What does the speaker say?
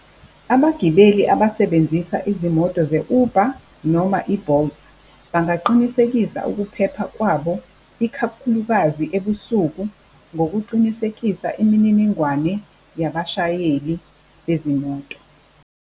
Abagibeli abasebenzisa izimoto ze-Uber noma i-Bolt bangaqinisekisa ukuphepha kwabo, ikakhulukazi ebusuku ngokucinisekisa imininingwane yabashayeli bezimoto.